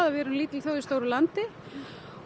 við erum lítil þjóð í stóru landi og